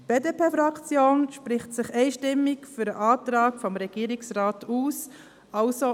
Die BDP-Fraktion spricht sich einstimmig für den Antrag des Regierungsrats aus;